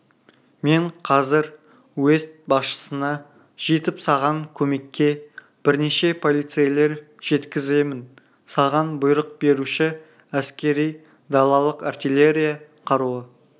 мен қазір уезд басшысына жетіп саған көмекке бірнеше полицейлер жеткіземін саған бұйрық беруші әскери далалық артиллерия қаруы